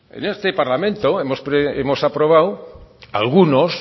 en este parlamento hemos aprobado algunos